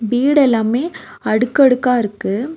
வீடு எல்லாமே அடுக்கு அடுக்கா இருக்கு.